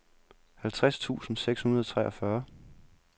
halvtreds tusind seks hundrede og treogfyrre